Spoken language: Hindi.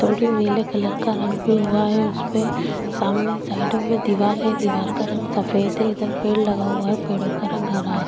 थोडड़ी नीले कलर का रंग भी हुआ है उसमें साइडो में दीवार है दीवार का रंग सफेद है पेड़ लगा हुआ है पेड़ों का रंग हरा हैं।